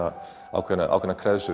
ákveðnar ákveðnar